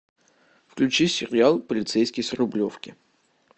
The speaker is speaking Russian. включи сериал полицейский с рублевки